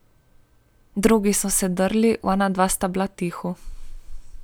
Drugi so se drli, onadva sta bila tiho.